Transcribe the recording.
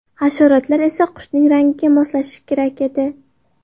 Hasharotlar esa qushning rangiga moslashishi kerak edi.